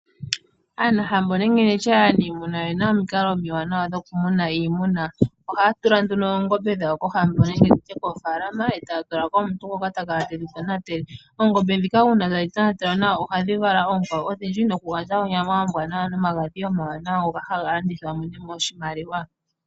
Aanahambo nenge nditye aanimuna oye na omikalo omiwanawa dhokumuna iimuna. Ohaa tula nduno oongombe dhawo kohambo nenge tu tye koofaalama, etaa tulako omuntu ngoka ta kala ye dhi tonatele. Oongombe ndhika uuna ta dhi tonatelwa nawa oha dhi vala oonkwawo odhindji, noku gandja oonyama ombwaanawa, nomagadhi omawanawa ngoka ha landithwa.